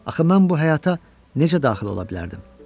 Axı mən bu həyata necə daxil ola bilərdim?